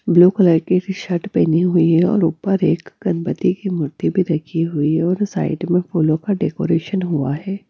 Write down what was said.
Blue colour की shirt पहनी हुई है और ऊपर एक गणपति की मूर्ति भी रखी हुई और साइड में फूलों का डेकोरेशन हुआ है।